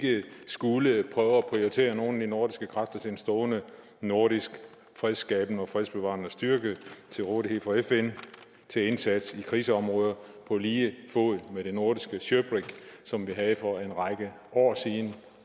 skulle prøve at prioritere nogle af de nordiske kræfter til en stående nordisk fredsskabende og fredsbevarende styrke og til rådighed for fn til indsats i krigsområder på lige fod med det nordiske shirbrig som vi havde for en række år siden